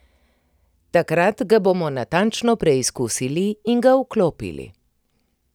Takrat ga bomo natančno preizkusili in ga vklopili.